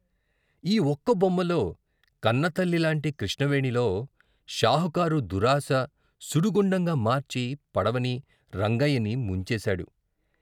ఈ ఒక్క బొమ్మలో కన్నతల్లి లాంటి కృష్ణవేణిలో షాపుకారు దురాశ సుడిగుండంగా మార్చి పడవని, రంగయ్యనీ ముంచేశాడు..